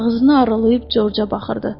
Ağzını aralayıb Corca baxırdı.